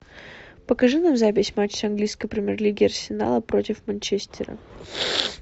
покажи нам запись матча английской премьер лиги арсенала против манчестера